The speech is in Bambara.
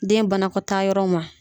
Den banakɔtaa yɔrɔ ma.